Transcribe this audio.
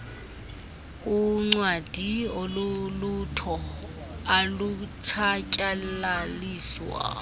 uncwadi olulutho alutshatyalaliswa